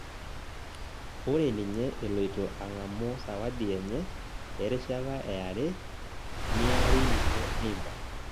Ore ninye eloito ang'amu sawadi enye erishata eare, niari ninye Neymar